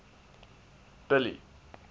billy